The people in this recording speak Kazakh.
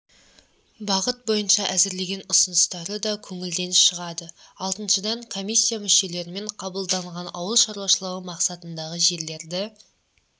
бағыт бойынша әзірлеген ұсыныстары да көңілден шығады алтыншыдан комиссия мүшелерімен қабылданған ауыл шаруашылығы мақсатындағы жерлерді